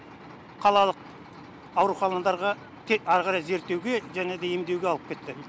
қалалық ауруханадарға тек ары қарай зерттеуге және де емдеуге алып кетті